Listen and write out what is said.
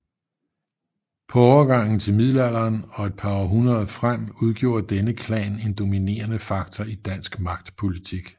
På overgangen til middelalderen og et par århundreder frem udgjorde denne klan en dominerende faktor i dansk magtpolitik